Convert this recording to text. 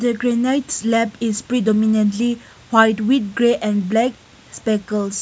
a granites slab is pre dominantly white with grey and black peckels.